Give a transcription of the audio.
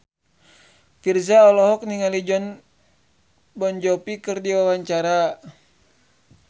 Virzha olohok ningali Jon Bon Jovi keur diwawancara